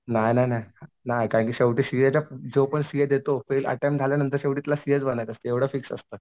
नाही नाही नाही शेवटी सीए च्या जोपर्यंत सीए देतो पहिले अटेम्प्ट झाल्यांनतर तुला सीएच बनायचं असतं एवढं फिक्स असतं.